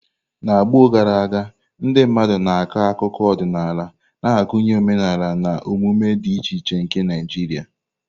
N'ọgbọ gara aga, ndị mmadụ na-akọ akụkọ ọdịnala na-agụnye omenala na omume dị iche iche nke Naijiria.